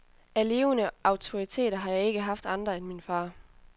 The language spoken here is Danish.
Af levende autoriteter har jeg ikke haft andre end min far.